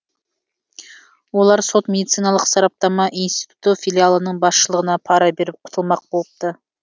олар сот медициналық сараптама институты филиалының басшылығына пара беріп құтылмақ болыпты